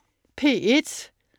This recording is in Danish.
P1: